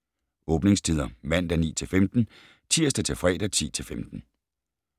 Åbningstider: Mandag: 9-15 Tirsdag - fredag: 10-15